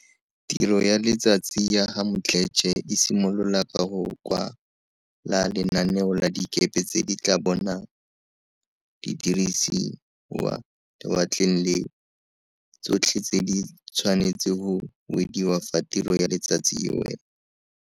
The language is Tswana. Tiro ya letsatsi ya ga Mdletshe e simolola ka go kwa la lenaneo la dikepe tse di tla bong di dirisa lewatle leo, tsotlhe tse di tshwane tse go wediwa fa tiro ya letsatsi e wela.